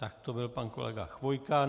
Tak to byl pan kolega Chvojka.